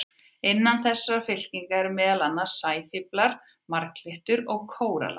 Innan þessarar fylkingar eru meðal annars sæfíflar, marglyttur og kórallar.